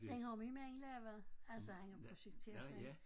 Den har min mand lavet. Altså han har projekteret den